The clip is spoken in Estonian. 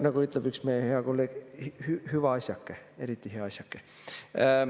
Nagu ütleb üks meie hea kolleeg: hüva asjake, eriti hea asjake.